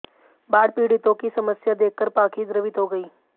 बाढ़ पीड़ितों की समस्या देखकर पाखी द्रवित हो गईं